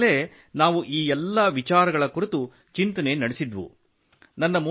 ಅಲ್ಲಿರುವಾಗಲೇ ನಾವು ಈ ಎಲ್ಲ ವಿಚಾರಗಳ ಕುರಿತು ಚಿಂತನೆ ನಡೆಸಿದ್ದೆವು